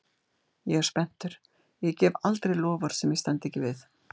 Ég er spenntur, ég gef aldrei loforð sem ég stend ekki við.